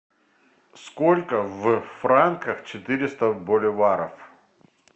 сколько в франках четыреста боливаров